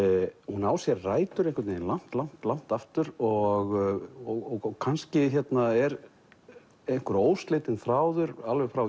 hún á sér rætur einhvern veginn langt langt langt aftur og kannski er einhver óslitinn þráður alveg frá